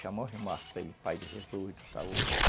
pai de Jesus, de saúde.